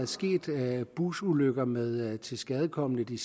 sket busulykker med tilskadekomne de